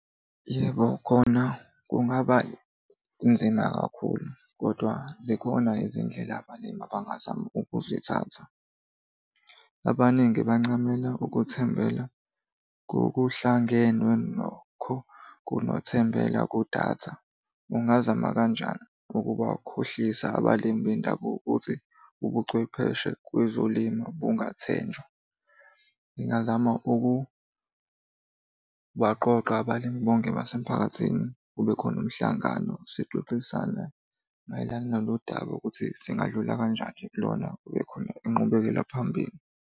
Yebo, khona kungabanzima kakhulu, kodwa zikhona izindlela abalimi abangazama ukuzithatha. Abaningi bancamela ukuthembela ngokuhlangenwe nokho kunothembela kudatha. Ungazama kanjani ukubakhohlisa abalimi bendabuko ukuthi ubuchwepheshe kwezolimo bungathenjwa? Ngingazama ukubaqoqa abalimi bonke basemphakathini kube khona umhlangano sixoxisane mayelana nalolu daba ukuthi singadlula kanjani nje kulona kube khona inqubekela phambili.